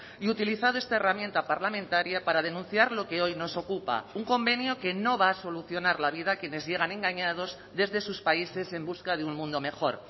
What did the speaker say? y utilizado esta herramienta parlamentaria para denunciar lo que hoy nos ocupa un convenio que no va a solucionar la vida a quienes llegan engañados desde sus países en busca de un mundo mejor